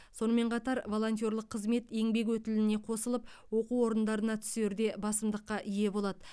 сонымен қатар волонтерлік қызмет еңбек өтіліне қосылып оқу орындарына түсерде басымдыққа ие болады